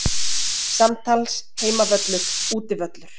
Samtals Heimavöllur Útivöllur